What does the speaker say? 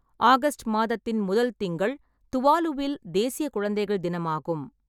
August மாதத்தின் முதல் திங்கள் துவாலுவில் தேசிய குழந்தைகள் தினமாகும்.